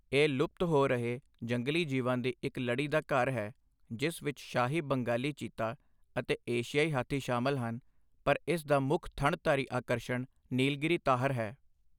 ਇਹ ਲੁਪਤ ਹੋ ਰਹੇ ਜੰਗਲੀ ਜੀਵਾਂ ਦੀ ਇੱਕ ਲੜੀ ਦਾ ਘਰ ਹੈ, ਜਿਸ ਵਿੱਚ ਸ਼ਾਹੀ ਬੰਗਾਲੀ ਚੀਤਾ ਅਤੇ ਏਸ਼ੀਆਈ ਹਾਥੀ ਸ਼ਾਮਲ ਹਨ, ਪਰ ਇਸ ਦਾ ਮੁੱਖ ਥਣਧਾਰੀ ਆਕਰਸ਼ਣ ਨੀਲਗਿਰੀ ਤਾਹਰ ਹੈ।